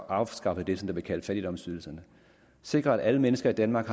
afskaffet det som bliver kaldt fattigdomsydelserne sikre at alle mennesker i danmark